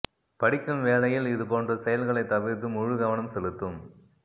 படிக்கும் வேளையில் இது போன்ற செயல்களை தவிர்த்து முழு கவனம் செலுத்தும்